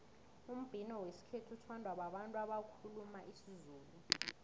umbhino wesikhethu uthandwa babantu abakhuluma isizulu